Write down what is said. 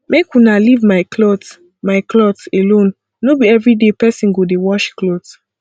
make una leave my cloth my cloth alone no be everyday person go dey wash cloth